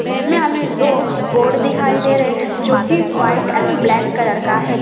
इसमें हमें दो बोर्ड दिखाई दे रहे हैं जो वाइट एंड ब्लैक कलर का है।